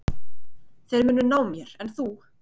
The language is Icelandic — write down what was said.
Þeir munu ná mér en þú?